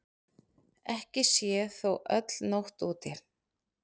Ekki sé þó öll nótt úti.